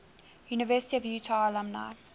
university of utah alumni